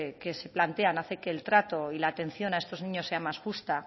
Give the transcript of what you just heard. que se plantean hace que el trato y la atención a estos niños sea más justa